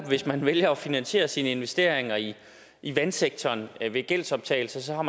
hvis man vælger at finansiere sine investeringer i i vandsektoren ved gældsoptagelse så har